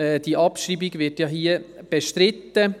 Die Abschreibung wird hier bestritten.